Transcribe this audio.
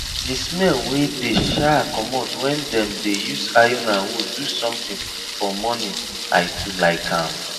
the smell wey dey um commot when them dey use iron and wood do something for morning i too like am